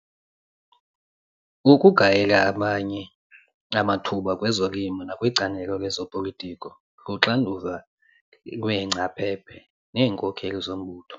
Ukugayela abanye amathuba kwezolimo nakwicandelo lezopolitiko luxanduva lweengcaphephe neenkokeli zombutho.